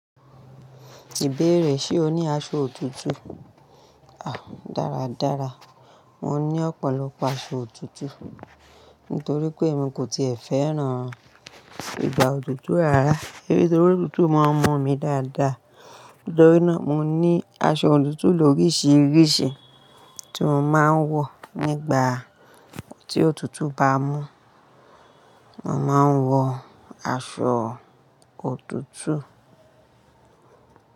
Tí bèrè ṣe o ní aṣọ òtútù? Ah, dáradára. Mo ní ọ̀pọ̀lọpọ̀ aṣọ òtútù nítorí pé èmi kò ti e fẹ́ràn ìgbà òtútù rárá. Nítorí pé òtútù máa ń mu mi dáadáa. Nítorí náà, mo ní aṣọ òtútù lóríṣiríṣi tí mo máa ń wọ̀ nígbà tí òtútù bá mú. Mo máa ń wọ aṣọ òtútù.